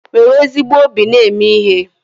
Nwere ezigbo obi na-eme ihe